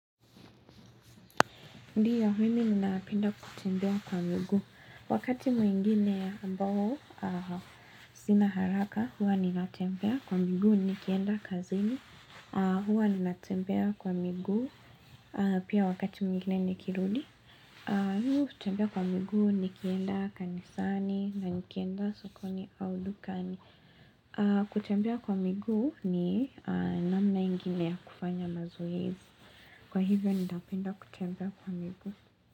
Ndiyo, mimi ninapenda kutembea kwa miguu. Wakati mwingine ambao sina haraka, huwa ninatembea kwa miguu nikienda kazini. Huwa ninatembea kwa miguu pia wakati mwingine nikirudi. Mimi hutembea kwa miguu nikienda kanisani na nikienda sokoni au dukani. Kutembea kwa miguu ni namna ingine ya kufanya mazoezi. Kwa hivyo, nitapenda kutembea kwa miguu.